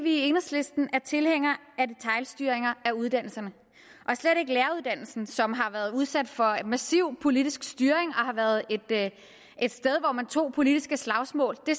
i enhedslisten er tilhængere af detailstyring af uddannelserne og slet ikke læreruddannelsen som har været udsat for en massiv politisk styring og har været et sted hvor man tog politiske slagsmål det